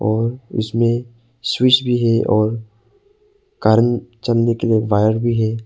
और उसमें स्विच भी है और कारण चलने के लिए वायर भी है।